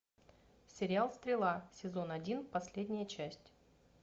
сериал стрела сезон один последняя часть